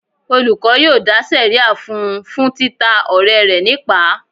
Olùkọ́ yóò dá sẹ̀ríà fún un fún títa ọ̀rẹ́ rẹ̀ nípàá.